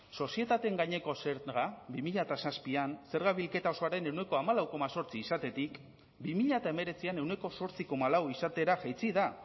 sozietateen gaineko zerga bi mila zazpian zerga bilketa osoaren ehuneko hamalau koma zortzi izatetik bi mila hemeretzian ehuneko zortzi koma lau izatera jaitsi da